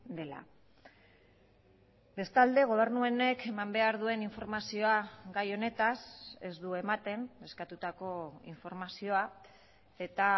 dela bestalde gobernu honek eman behar duen informazioa gai honetaz ez du ematen eskatutako informazioa eta